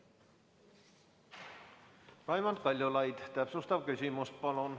Raimond Kaljulaid, täpsustav küsimus, palun!